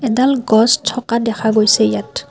এডাল গছ থকা দেখা গৈছে ইয়াত।